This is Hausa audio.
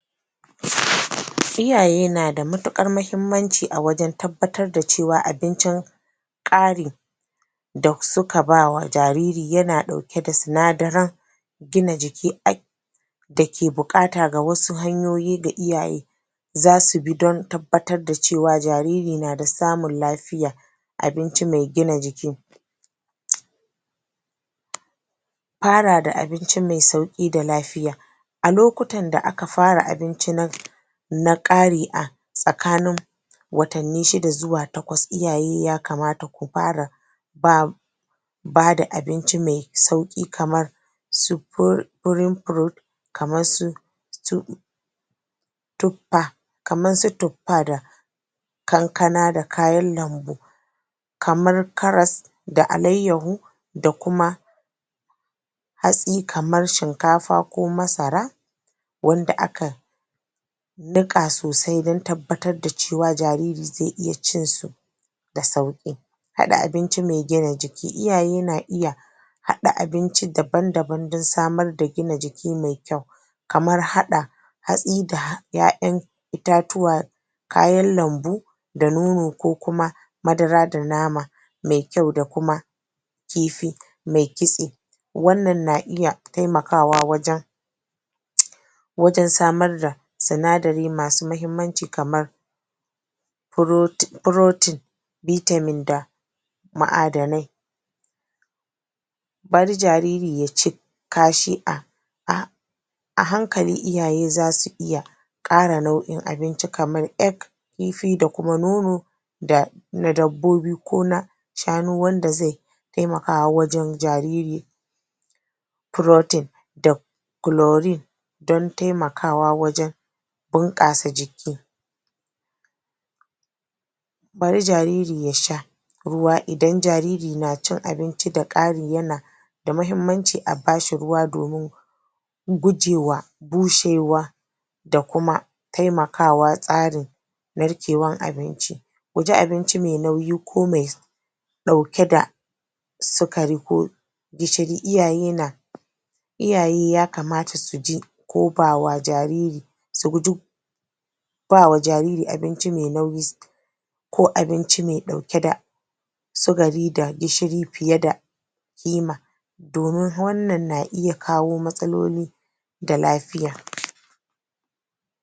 A cikin Arewacin Najeriya yanayi mai zafi da fari yana tasiri sosai kan hanyoyin da ake amfani da su wajen ajiye bayanai a gonakin kaji. ga wasu daga cikin abubuwan da muhimman abubuwan da suke Muhimman abubuwan da suke da tasiri. zafi da ƙura Yanayin zafi da yawan ƙura na iya lalata takardu da littattafan adana bayanai. Don haka manoma da yawa suna amfani da hanyoyin adana bayanai na zamani kamar: man hajojin Rashin wutar lantarki. A wasu yankunan akwai ƙarancin wutar lantarki wanda wanda ke sa amfani da kayan lantarki kamar na'ura mai ƙwaƙwalwa na'urar hannu wahala saboda haka wasu manoma suna ci gaba da amfani da littattafai ko ajiyar bayanai a takarda. Ɗumamar yanayi. Zafin rana mai tsayo yana iya sa inji da takardu su lalace da sauri. Saboda haka ana buƙatar adana takardu a wurare masu inuwa, san yi da amfani da, jaka masu kare danshi. jakunkuna masu kare damshi. Sannan sanyin dare da banbancin yanayi. Wannan banbancin yanayi yana iya haifar da ƙamsi ko danshi wanda ke lalata takardu. saboda haka, wasu manoma suna amfani da, fakitin, roba, ko akwatuna masu rufi ko kuma hana danshi shiga. ko kuma abubuwan da ke hana danshi shiga. Sannan ƙarancin ruwa. Saboda fari, wasu manoma ba su iya amfani da hanyoyin ajiyar bayanai da ke buƙatar ruwa ko na'urar sarrafa bayanai da ke amfani da tawwada mai saurin shafewa. Saboda waɗannan dalilai yawancin manoman kaji a arewacin Najeriya suna haɗa hanyoyin zamani fara amfani da wayar hannu don rubuta bayanai hanyoyin gargajiya, kamar amfani da kundin da ke rubutu mai ɗauke da fakitin kariya Saboda waɗannan dalilai Yawancin manoman kaji a arewacin Najeriya suna haɗa hanyiyin zamani kamar amfani da wayar hannu don rubuta bayani da hanyoyin gargajiya da yin amfani da kundin rubutu mai ɗauke da fakitin kariya sannan kuma a sanya su cikin samfurin jakunkuna wanda za su tsare danshi da sauransu. wanda hakan ka iya